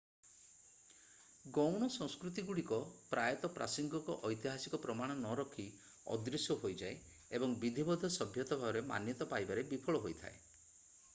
ଗୌଣ ସଂସ୍କୃତିଗୁଡ଼ିକ ପ୍ରାୟତଃ ପ୍ରାସଙ୍ଗିକ ଐତିହାସିକ ପ୍ରମାଣ ନରଖି ଅଦୃଶ୍ୟ ହୋଇଯାଏ ଏବଂ ବିଧିବଦ୍ଧ ସଭ୍ୟତା ଭାବରେ ମାନ୍ୟତା ପାଇବାରେ ବିଫଳ ହୋଇଥାଏ